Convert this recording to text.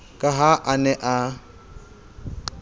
ka ha a ne a